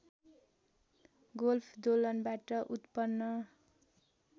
golf दोलनबाट उत्पन्न